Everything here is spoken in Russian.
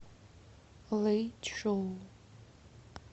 лэйчжоу